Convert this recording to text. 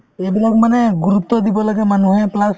এইবিলাক মানে গুৰুত্ব দিব লাগে মানুহে plus